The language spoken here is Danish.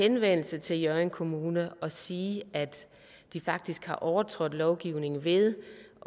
henvendelse til hjørring kommune og sige at de faktisk har overtrådt lovgivningen ved